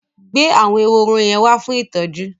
Gbé àwọn ehoro yẹn wá fún ìtọ́jú!